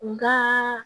Nga